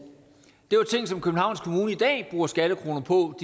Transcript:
det var ting som københavns kommune i dag bruger skattekroner på